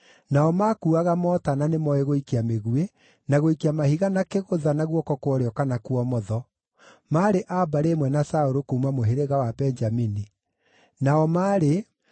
Nao maakuuaga mota na nĩmooĩ gũikia mĩguĩ, na gũikia mahiga na kĩgũtha, na guoko kwa ũrĩo kana kwa ũmotho; maarĩ a mbarĩ ĩmwe na Saũlũ kuuma mũhĩrĩga wa Benjamini), nao maarĩ: